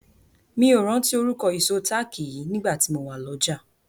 Mi ò rántí orúkọ ìṣó táàkì yìí nígbà tí mo wà lọ́jà.